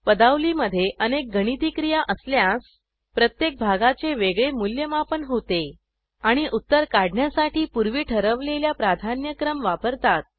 पदावलीमधे अनेक गणिती क्रिया असल्यास प्रत्येक भागाचे वेगळे मूल्यमापन होते आणि उत्तर काढण्यासाठी पूर्वी ठरवलेल्या प्राधान्यक्रम वापरतात